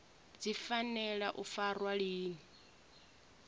dzi fanela u farwa lini